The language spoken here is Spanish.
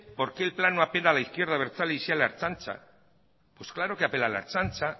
por qué el plan no apela a la izquierda abertzale y sí a la ertzaintza pues claro que apela a la ertzaintza